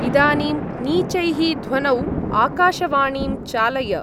इदानीं नीचैः ध्वनौ आकाशवाणीं चालय।